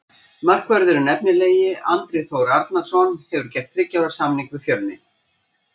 Markvörðurinn efnilegi Andri Þór Arnarson hefur gert þriggja ára samning við Fjölni.